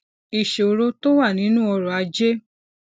ìṣòro tó wà nínú ọrọ ajé